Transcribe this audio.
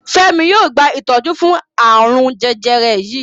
Femi yóò gba itọju fún arun jẹjẹrẹ yí.